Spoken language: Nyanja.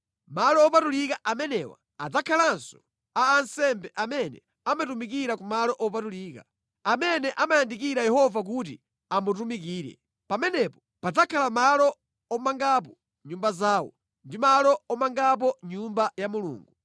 Malo opatulika amenewa adzakhalanso a ansembe amene amatumikira ku malo opatulika, amene amayandikira Yehova kuti amutumikire. Pamenepo padzakhala malo omangapo nyumba zawo ndi malo omangapo Nyumba ya Mulungu.